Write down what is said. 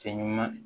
Fɛn ɲuman